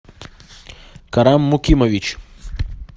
карам мукимович